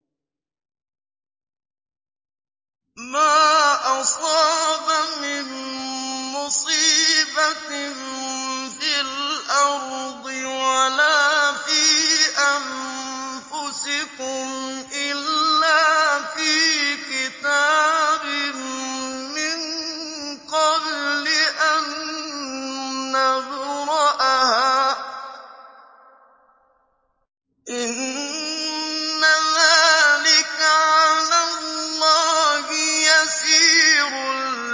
مَا أَصَابَ مِن مُّصِيبَةٍ فِي الْأَرْضِ وَلَا فِي أَنفُسِكُمْ إِلَّا فِي كِتَابٍ مِّن قَبْلِ أَن نَّبْرَأَهَا ۚ إِنَّ ذَٰلِكَ عَلَى اللَّهِ يَسِيرٌ